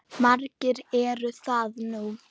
Margir eru það nú.